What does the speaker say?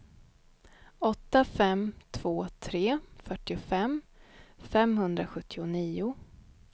åtta fem två tre fyrtiofem femhundrasjuttionio